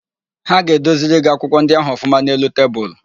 Ha ga-edoziri gị akwụkwọ ndị ahụ ọfụma n'elu tebulu.